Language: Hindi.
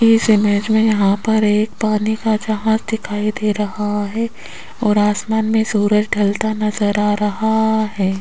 इस इमेज में यहां पर एक पानी का जहाज दिखाई दे रहा है और आसमान में सूरज ढलता नजर आ रहा है।